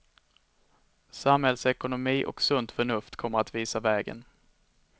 Samhällsekonomi och sunt förnuft kommer att visa vägen.